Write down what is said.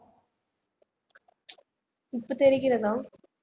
இப்ப தெரிகிறதா